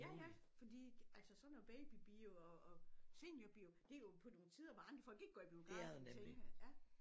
Ja ja fordi altså så når babybio og og seniorbio det jo på nogle tider hvor andre folk ikke går i biografen tænker jeg ja